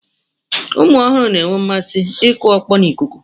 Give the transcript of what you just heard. Ụmụ ọhụrụ na-enwe mmasị ịkụ ọkpọ n'ikuku.